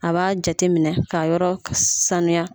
A b'a jate minɛ ka yɔrɔ saniya.